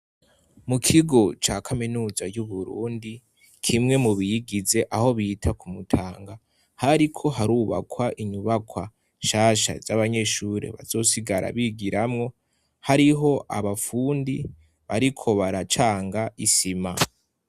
mu kigo ca kaminuza y'uburundi kimwe mu biyigize aho bita kumutanga hariko harubakwa inyubakwa nshasha z'abanyeshuri bazosigara bigiramwo hariho abafundi bariko baracanga isima.